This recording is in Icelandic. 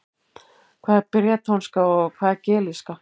Hvað er bretónska og hvað er gelíska?